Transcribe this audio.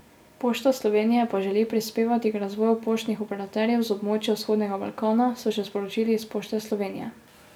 Pošta Slovenije pa želi prispevati k razvoju poštnih operaterjev z območja vzhodnega Balkana, so še sporočili iz Pošte Slovenije.